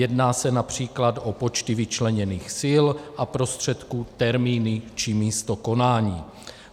Jedná se například o počty vyčleněných sil a prostředků, termíny či místo konání.